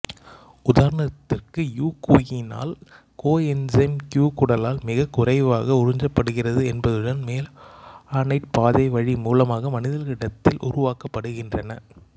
உதாரணத்திற்கு யுபிகுயினால் coenzyme Q குடலால் மிகக் குறைவாக உறிஞ்சப்படுகிறது என்பதுடன் மெவாலானேட் பாதைவழி மூலமாக மனிதர்களிடத்தில் உருவாக்கப்படுகின்றன